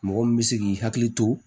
Mɔgɔ min bɛ se k'i hakili to